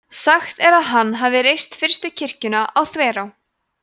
sagt er að hann hafi reist fyrstu kirkjuna á þverá